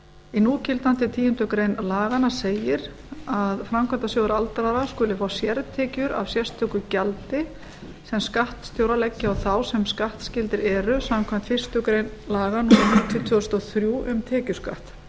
í núgildandi tíundu grein laganna segir að framkvæmdasjóður aldraðra skuli fá sértekjur af sérstöku gjaldi sem skattstjórar leggi á þá sem skattskyldir eru samkvæmt fyrstu grein laga númer níutíu tvö þúsund og þrjú um tekjuskatt